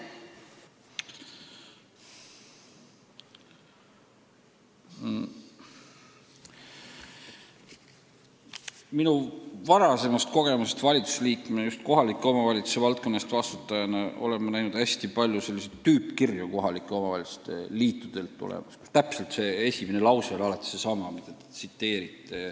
Oma varasemast kogemusest valitsusliikme ja just kohaliku omavalitsuse valdkonna eest vastutajana ma tean, et kohaliku omavalitsuse liitudelt tuleb hästi palju selliseid tüüpkirju, kus esimene lause on alati olnud seesama, mida te tsiteerisite.